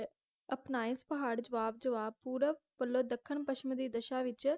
ਅਪਣਾਏ ਪਹਾੜ ਜਵਾਹ ਜਵਾਹ ਪੂਰਵ ਵਲੋਂ ਦੱਖਣ ਪੱਛਮ ਦੀ ਦਸ਼ਾ ਵਿਚ